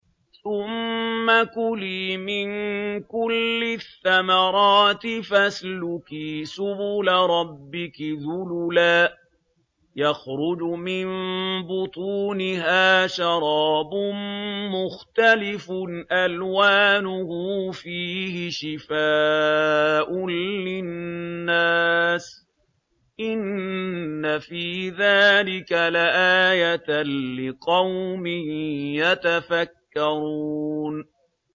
ثُمَّ كُلِي مِن كُلِّ الثَّمَرَاتِ فَاسْلُكِي سُبُلَ رَبِّكِ ذُلُلًا ۚ يَخْرُجُ مِن بُطُونِهَا شَرَابٌ مُّخْتَلِفٌ أَلْوَانُهُ فِيهِ شِفَاءٌ لِّلنَّاسِ ۗ إِنَّ فِي ذَٰلِكَ لَآيَةً لِّقَوْمٍ يَتَفَكَّرُونَ